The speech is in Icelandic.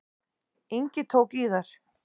Ingi tók í þær.